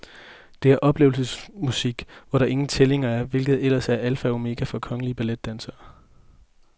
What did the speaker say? Det er oplevelsesmusik, hvor der ingen tællinger er, hvilket ellers er alfa og omega for kongelige balletdansere.